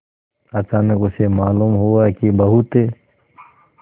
अचानक उसे मालूम हुआ कि बहुत